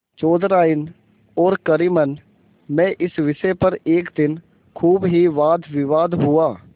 चौधराइन और करीमन में इस विषय पर एक दिन खूब ही वादविवाद हुआ